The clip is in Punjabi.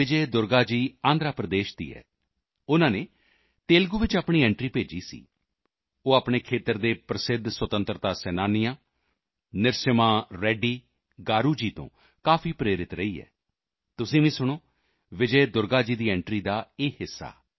ਵਿਜੇ ਦੁਰਗਾ ਜੀ ਆਂਧਰਾ ਪ੍ਰਦੇਸ਼ ਦੀ ਹੈ ਉਨ੍ਹਾਂ ਨੇ ਤੇਲੁਗੂ ਵਿੱਚ ਆਪਣੀ ਐਂਟਰੀ ਭੇਜੀ ਸੀ ਉਹ ਆਪਣੇ ਖੇਤਰ ਦੇ ਪ੍ਰਸਿੱਧ ਸੁਤੰਤਰਤਾ ਸੈਨਾਨੀਆਂ ਨਰਸਿਮ੍ਹਾ ਰੈੱਡੀ ਗਾਰੂ ਜੀ ਤੋਂ ਕਾਫੀ ਪ੍ਰੇਰਿਤ ਰਹੀ ਹੈ ਤੁਸੀਂ ਵੀ ਸੁਣੋ ਵਿਜੇ ਦੁਰਗਾ ਜੀ ਦੀ ਐਂਟਰੀ ਦਾ ਇਹ ਹਿੱਸਾ